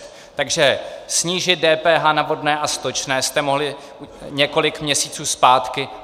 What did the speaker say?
Takže snížit DPH na vodné a stočné jste mohli několik měsíců zpátky.